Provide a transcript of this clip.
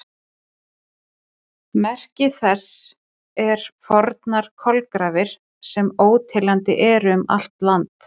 Merki þess eru fornar kolagrafir, sem óteljandi eru um allt land.